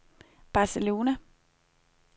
Barcelona